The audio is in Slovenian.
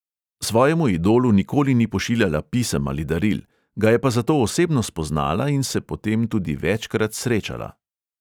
Svojemu idolu nikoli ni pošiljala pisem ali daril, ga je pa zato osebno spoznala in se po tem tudi večkrat srečala.